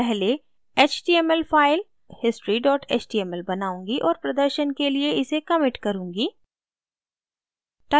पहले html file history html बनाऊंगी और प्रदर्शन के लिए इसे commit करुँगी